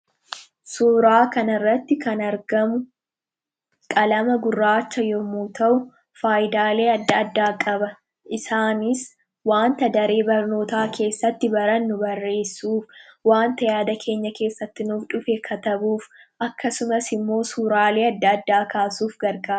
suuraa kana irratti kan argamu qalama gurraacha yemmuu ta'u faayidaalee addaa addaa qaba. Isaanis wanta daree barnootaa keessatti barannu barreessuuf, wanta yaada keenya keessatti nuuf dhufe katabuuf akkasumas immoo suuraalee addaa addaa kaasuuf gargaara.